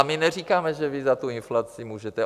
A my neříkáme, že vy za tu inflaci můžete.